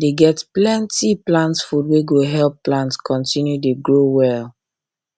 dey get plenty um plant food wey go help um plant continue dey grow well